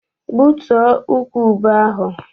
Gbutuo ukwu ube ahụ!